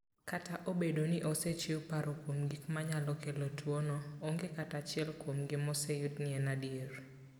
Kata obedo ni osechiw paro kuom gik manyalo kelo tuwono, onge kata achiel kuomgi moseyud ni en adier.